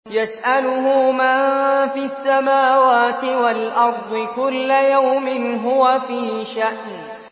يَسْأَلُهُ مَن فِي السَّمَاوَاتِ وَالْأَرْضِ ۚ كُلَّ يَوْمٍ هُوَ فِي شَأْنٍ